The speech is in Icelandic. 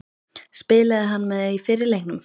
Spilaði hann með í fyrri leiknum?